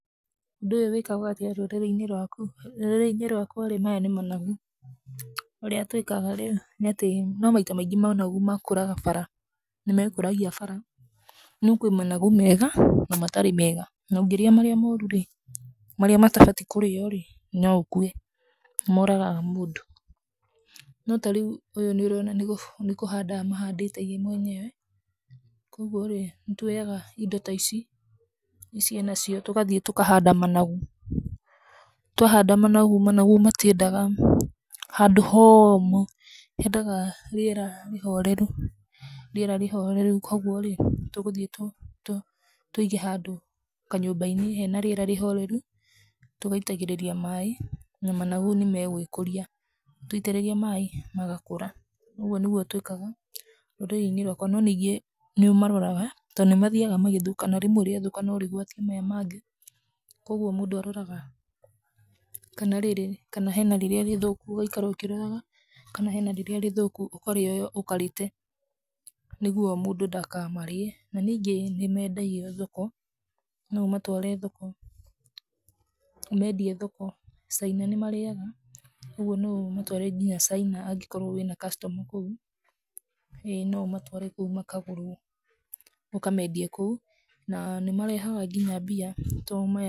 Ũndũ ũyũ wĩkagwo atĩa rũrĩrĩ-inĩ rwaku? Rũrĩrĩ-ini rwakwa, maya nĩ managu, Ũrĩa twĩkaga rĩ, nĩ atĩ, no maita maingĩ managu makũraga bara. Nĩ meekũragia bara. No kwĩ managu mega na matarĩ mega, na ũngĩrĩa marĩa moru rĩ, marĩa matabaiĩ kũrĩo rĩ, no ũkue. Nĩ mooragaga mũndũ. No ta rĩu ũyũ nĩ ũrona nĩ kũhanda amahandĩte ye mwenyewe, kwoguo rĩ, nĩ tũoyaga indo ata ici, ici enacio, tũgathiĩ tũkahanda managu. Twahanda managu, managu matiendaga handũ homũ, hendaga rĩera rĩhoreru. Rĩera rĩhoreru kwoguo rĩ, tũgũthiĩ tũige handũ kanyũmba-inĩ hena rĩera rĩhoreru tũgaitagĩrĩria maaĩ, na mangagu nĩ megũĩkũria. Twaitĩrĩria maaĩ, magakũra. Ũguo nĩguo twĩkaga rũrĩrĩ-inĩ rwaka. No ningĩ nĩ ũmaroraga to nĩ mathiaga magĩthũkana, rĩmwe rĩathũkana no rĩgwatie maya mangĩ. Kwoguo mũndũ aroraga kana rĩrĩ, kana hena rĩrĩa rĩthũku, ũgaikara ũkĩroraga kana hena rĩrĩa rĩthũkũ, ũkarĩoya ũkarĩte nĩguo mũndũ ndakamarĩe. Na ningĩ nĩ meendagio thoko, no ũmatware thoko, ũmeendie thoko. China nĩmarĩaga kwoguo no ũmatware nginya China angĩkorwo wĩna customer kũu. ĩ, no ũmatware kũu makagũrwo, ũkameendie kũu. Na nĩ marehaga nginya mbia to maya-